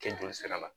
Kɛ joli sira la